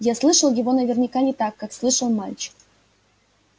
я слышал его наверняка не так как слышал мальчик